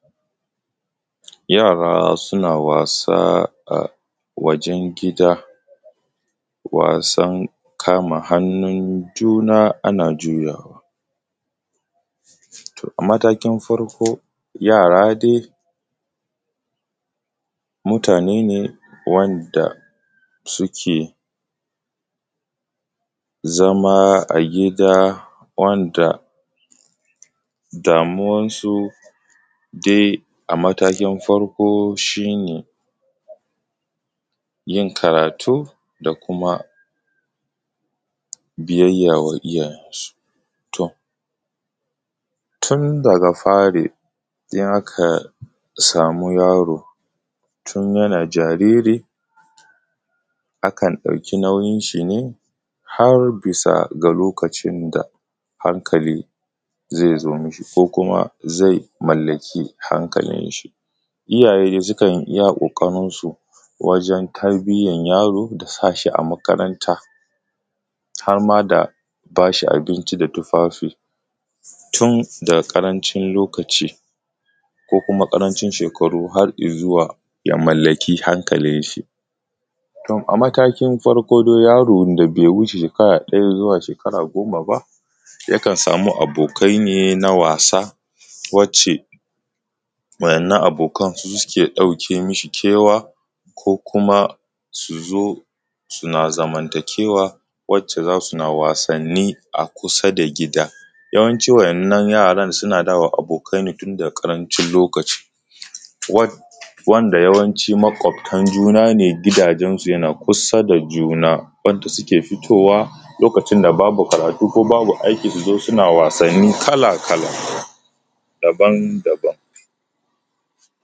Yara suna wasa a wajen gida wasan kama hannun juna ana juyawa. A matakin farko juyawa dai shi ne wanda suke zama a gida wanda damuwarsu a matakin farko shi ne yin karatu da kuma biyayya wa iyaye. Misali za ka sama yaro tun ya a jariri akan ɗauki nauyin shi bisa ga lokacin da hankali zai zo mu shi zai mallaki hankalin shi. Iyayen suka yi iya ƙoƙarin su wajen tarbiyyar yaro da sa shi a makaranta har ma da ba shi abinci da tufafi tun daga karancin Lokaci ko kuma ƙaranci shekaru har ya zuwa ya mallaki hankalin shi. A matakin farko dai yaron da bai wuce shekara daya ba zuwa goma ba yakan sama abokan ne na wasa wacce wannan abokan suke ɗauke mi shi kewa ko kuma su zo suna zamantakewa wacce za su na wasanni kusa da gida. Yawanci wannan yara suna zama abokai ne tun daga karancin lokaci, wanda yawanci makabtan juna ne gidajensu na kusa da juna suna fitowa lokacin da babu karatu ko babu aiki suna wasanni kala-kala daban-daban.